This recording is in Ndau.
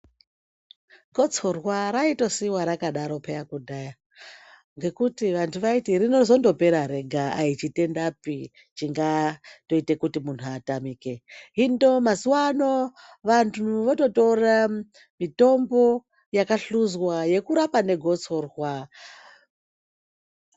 Gotsorwa raitosiiwa rakadaro peya kudhaya ngekuti vantu vaiti rinozondopera rega ayichitendapi chingatoite kuti muntu atamike. Hindo mazuwa ano vantu vototore mitombo yakahluzwa yekurapa negotsorwa.